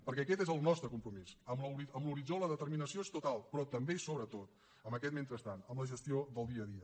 perquè aquest és el nostre compromís amb l’horitzó la determinació és total però també i sobretot amb aquest mentrestant amb la gestió del dia a dia